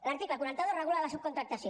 l’article quaranta dos regula la subcontractació